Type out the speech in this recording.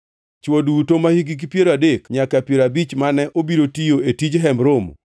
Chwo duto mahikgi piero adek nyaka piero abich mane obiro tiyo e tij Hemb Romo,